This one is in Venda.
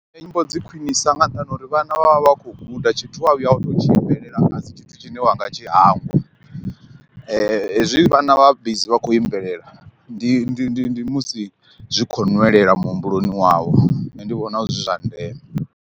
Nne nyimbo dzi khwinisa nga nṱhani ha uri vhana vha vha vha kho guda tshithu wa vhuya wa tou tshi imbelela nga dzi tshithu tshine wanga tshi hangwa, hezwi vhana vha bizi vha khou imbelela ndi ndi ndi ndi musi zwi khou nwelela muhumbuloni wavho nṋe ndi vhona zwi zwa ndeme.